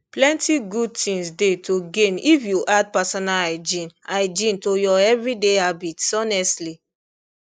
plenty good things dey to gain if you add personal hygiene hygiene to your everyday habits honestly